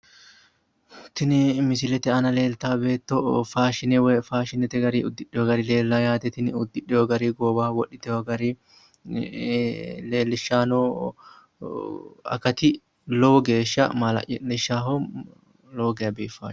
Tini missile aana leeltawo beetto faashine woy faashinete gari uddidheyo gari leellawo yaate tini uddidheyo gari goowaho wodhiteyo gari leellishshayi noo akati lowo geeshsha maala'lishaaho lowo geya biiffawo.